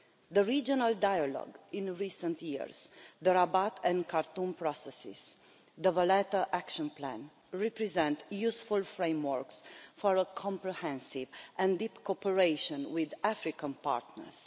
The regional dialogue in recent years, the Rabat and Khartoum Processes and the Valletta Action Plan represent useful frameworks for a comprehensive and deep cooperation with African partners.